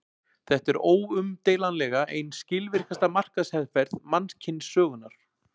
Þetta er óumdeilanlega ein skilvirkasta markaðsherferð mannkynssögunnar.